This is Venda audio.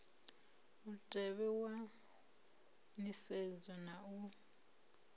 mutevhe wa nisedzo na u